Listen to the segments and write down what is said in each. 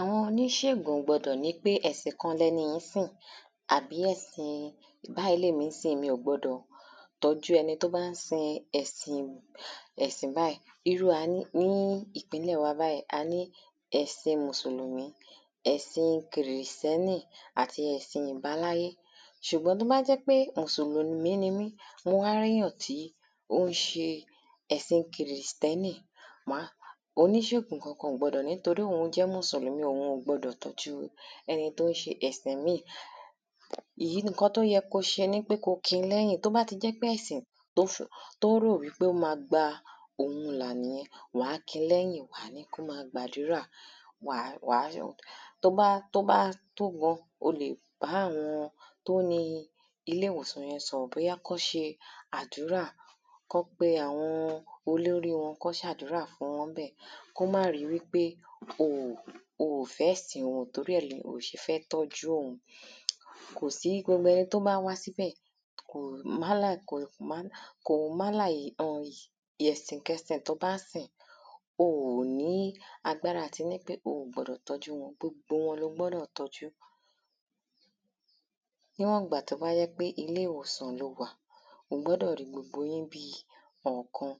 Àwọn oníṣègùn ò gbọ́dọ̀ ní pé ẹ̀sìn kan ni ẹni yìí ń sìn àbí ẹ̀sìn báyì ni èmi ń sìn mi ò gbọ́dọ̀ tọ́jú ẹni tí ó bá ń sin ẹ̀sìn ẹ̀sìn báyì Irú wa ní ìpínlẹ̀ wa báyìí a ní ẹ̀sìn mùsùlùmí ẹ̀sìn kìrìstẹ́nì àti ẹ̀sìn ìbáláyé Sùgbọ́n tí ó bá jẹ́ pé mùsùlùmí ni mí mo wá rí èyàn tí ó ń ṣe ẹ̀sìn kìrìstẹ́nì Oníṣègùn Kankan ò gbọ́dọ̀ ní torí òhun jẹ́ mùsùlùmí òhun ò gbọ́dọ̀ tọ́jú ẹni tí ó ń ṣe ẹ̀sìn ìmíì Ìyí ni nǹkan tí ó yẹ kí ó ṣe ni pé kí ó kinlẹ́yìn Tí ó bá ti jẹ́ pé ẹ̀sìn tí tí ó rò wípé ó máa gba òun là nìyẹn wà á kinlẹ́yìn Wà á ní kí ó máa gbàdúrà Wà á tí ó bá tí ó bá tó gan o lè bá àwọn tí ó ni ilé ìwòsàn yẹn sọ̀rọ̀ bóyá kí wọ́n ṣe àdúrà Kí wọ́n pe àwọn olórí wọn Kí wọ́n ṣàdúrà fún wọn ńbẹ̀ kí wọ́n má ri wípé o ò fẹ́ ẹ̀sìn wọn torí ẹ̀ ni o ò ṣe fẹ́ tọ́jú òhun Kò sí gbogbo ẹni tí ó wá sí ibẹ̀ ko um ẹ̀sìnkẹ̀sìn tí ó bá ń sìn o ò ní agbára àti ní pé o ò gbọ́dọ̀ tọ́jú wọn Gbogbo wọn ni o gbọ́dọ̀ tọ́jú Níwọ̀n ìgbà tí ó bá jẹ́ pe ilé ìwòsàn ni o wà o gbọ́dọ̀ rí gbogbo yín bíi ọ̀kan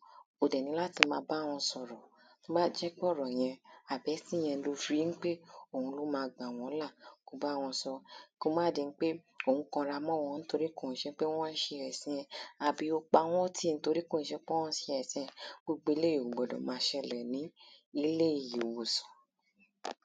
O dẹ̀ níláti máa bá wọn sọ̀rọ̀ Tí ó bá jẹ́ pé ọ̀rọ̀ yẹn àbí ẹ̀sìn yẹn ni o fi ri ń pé òun ni ó máa gbà wọ́n là kí o bá wọn sọ ọ́ Kí ó má di ń pé ò ń kanra mọ́ wọn nítorí kò ń ṣe pé wọ́n ṣe ẹ̀sìn ẹ àbí o pa wọ́n tì nítorí kò ń ṣe pé wọ́n ṣe ẹ̀sìn ẹ Gbogbo eléyì ò gbọ́dọ̀ máa ṣẹlẹ̀ ní ilé ìwòsàn